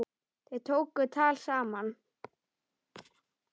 Þau tóku tal saman.